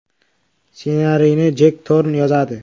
Ssenariyni Jek Torn yozadi.